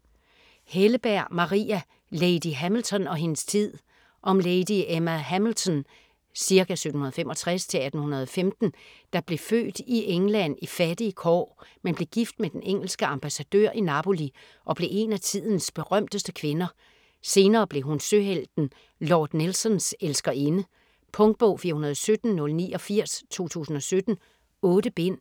Helleberg, Maria: Lady Hamilton og hendes tid Om Lady Emma Hamilton (ca. 1765-1815) der blev født i England i fattige kår, men blev gift med den engelske ambassadør i Napoli og blev en af tidens berømteste kvinder. Senere blev hun søhelten Lord Nelsons elskerinde. Punktbog 417089 2017. 8 bind.